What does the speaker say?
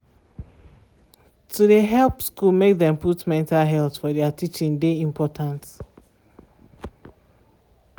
to de help school make dem put mental health for thier teaching de important.